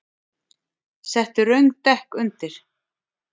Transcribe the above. Settu röng dekk undir